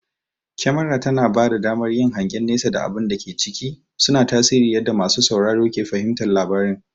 Kyamara tana bada damar yin hangen nesa da abun da ke ciki, suna tasiri yadda masu sauraro ke fahimtar labarin.